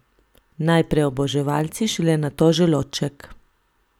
Najprej oboževalci, šele nato želodček.